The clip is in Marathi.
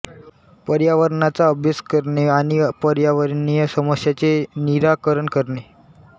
पर्यावरणाचा अभ्यास करणे आणि पर्यावरणीय समस्यांचे निराकरण करणे